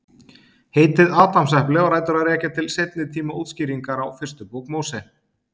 Heitið Adamsepli á rætur að rekja til seinni tíma útskýringar á fyrstu bók Móse.